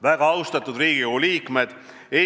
Väga austatud Riigikogu liikmed!